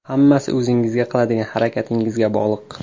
Hammasi o‘zingizga, qiladigan harakatingizga bog‘liq.